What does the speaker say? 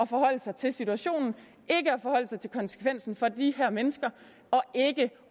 forholde sig til situationen ikke at forholde sig til konsekvensen for de her mennesker